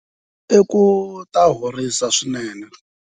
I ku ta horisa swinene.